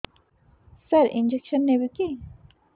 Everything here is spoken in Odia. ସାର ଇଂଜେକସନ ନେବିକି